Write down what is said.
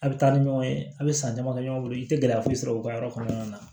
A bɛ taa ni ɲɔgɔn ye a bɛ san dama kɛ ɲɔgɔn bolo i tɛ gɛlɛya foyi sɔrɔ u ka yɔrɔ kɔnɔna na